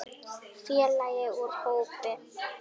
Félagi úr hópi